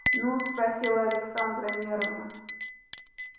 ну спросила александра нервно